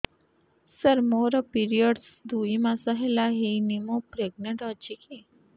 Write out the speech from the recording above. ସାର ମୋର ପିରୀଅଡ଼ସ ଦୁଇ ମାସ ହେଲା ହେଇନି ମୁ ପ୍ରେଗନାଂଟ ଅଛି କି